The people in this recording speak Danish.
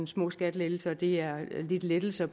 små skattelettelser og det er lidt lettelser